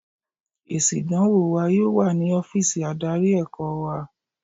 Èsì ìdánwò wa yóò wà ní ọ́fíìsì adarí ẹ̀kọ́ wa.